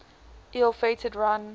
ill fated run